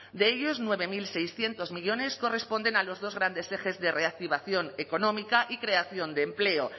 de ellos nueve mil seiscientos millónes corresponden a los dos grandes ejes de reactivación económica y creación de empleo